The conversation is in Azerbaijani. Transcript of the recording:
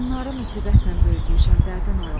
Bunları müsibətnən böyütmüşəm dərddən alım.